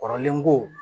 Kɔrɔlen ko